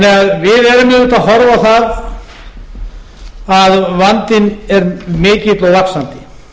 erum auðvitað að horfa á það að vandinn er mikill og vaxandi